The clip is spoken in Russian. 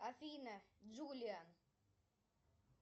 афина джулия